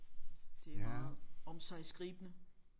Det er meget omsiggribende